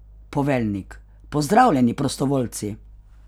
Poveljnik: "Pozdravljeni prostovoljci!